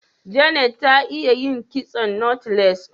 Janet ta iya yin kitson " knotless"